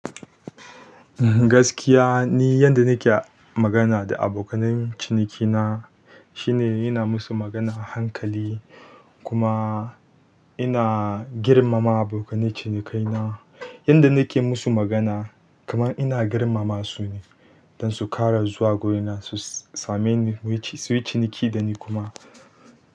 Gaskiya ni yanda nake magana da abokanan ciniki na shine ina masu magana a hankali kuma ina girmama abokanan ciniki na yanda nake masu magana kaman ina girmama su ne don su ƙara zuwa gurina su same ni, su yi ciniki da ni kuma.